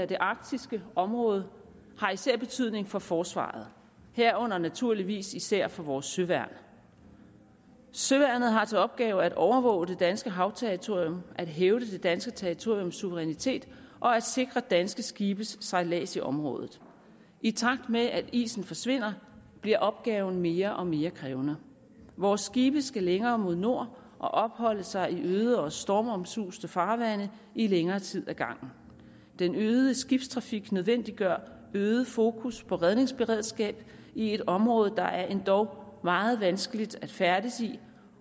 det arktiske område har især betydning for forsvaret herunder naturligvis især for vores søværn søværnet har til opgave at overvåge det danske havterritorium at hævde det danske territoriums suverænitet og at sikre danske skibes sejlads i området i takt med at isen forsvinder bliver opgaven mere og mere krævende vores skibe skal længere mod nord og opholde sig i øde og stormomsuste farvande i længere tid ad gangen den øgede skibstrafik nødvendiggør øget fokus på redningsberedskab i et område der er endog meget vanskeligt at færdes i